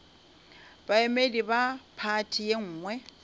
baemedi ba phathi ye nngwe